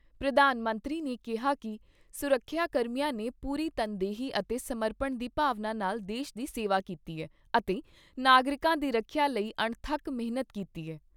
ਪ੍ਰਧਾਨ ਮੰਤਰੀ ਨੇ ਕਿਹਾ ਕਿ ਸੁਰੱਖਿਆ ਕਰਮੀਆਂ ਨੇ ਪੂਰੀ ਤਨਦੇਹੀ ਅਤੇ ਸਮਰਪਣ ਦੀ ਭਾਵਨਾ ਨਾਲ ਦੇਸ਼ ਦੀ ਸੇਵਾ ਕੀਤੀ ਏ ਅਤੇ ਨਾਗਰਿਕਾਂ ਦੀ ਰੱਖਿਆ ਲਈ ਅਣਥੱਕ ਮਿਹਨਤ ਕੀਤੀ ਏ।